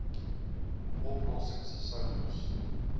oplossings sou moes